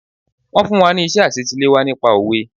Wọ́n fún wa ní iṣẹ́ àsetiléwá nípa Òwe.